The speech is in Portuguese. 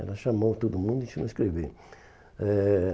Ela chamou todo mundo e ensinou escrever. Eh